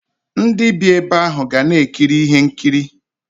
Ndi bii ebe ahu ga na ekiri ihe nkiri.